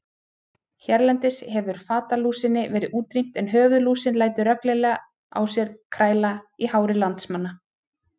Hérlendis hefur fatalúsinni verið útrýmt en höfuðlúsin lætur reglulega á sér kræla í hári landsmanna.